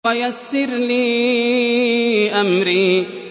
وَيَسِّرْ لِي أَمْرِي